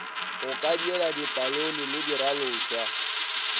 go kadiela dipalone le diralošwa